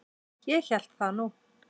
Ég hélt það nú!